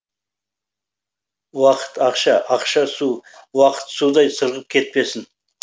уақыт ақша ақша су уақыт судай сырғып кетпесін